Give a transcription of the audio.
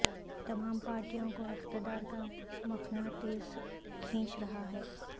تمام پارٹیوں کو اقتدار کا مقناطیس کھینچ رہا ہے